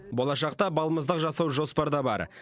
болашақта балмұздақ жасау жоспарда бар